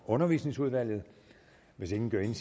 undervisning hvis